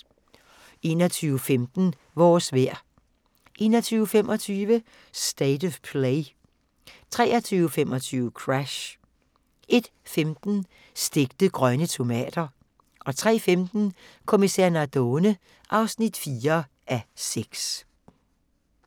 21:15: Vores vejr 21:25: State of Play 23:25: Crash 01:15: Stegte grønne tomater 03:15: Kommissær Nardone (4:6)